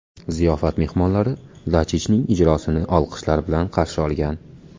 Ziyofat mehmonlari Dachichning ijrosini olqishlar bilan qarshi olgan.